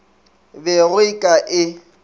be go e ka e